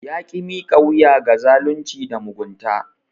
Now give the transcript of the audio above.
Ya ki miƙa wuya ga zalunci da mugunta.